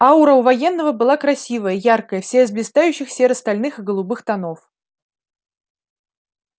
аура у военного была красивая яркая вся из блистающих серо-стальных и голубых тонов